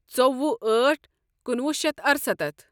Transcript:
ژوٚوُہ أٹھ کُنوُہ شیتھ ارسَتتھ